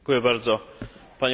Panie Przewodniczący!